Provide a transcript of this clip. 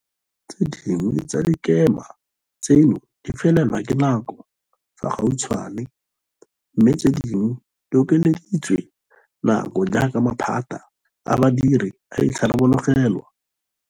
Tse dingwe tsa dikema tseno di felelwa ke nako fa gautshwane, mme tse dingwe di okeleditswe nako jaaka maphata a badiri a itharabologelwa.